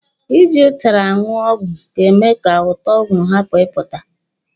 Ị ji ụtara aṅụ ọgwụ ga-eme ka ụtọ ọgwụ hapụ ipụta.